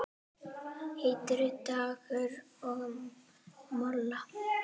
Heitur dagur og molla.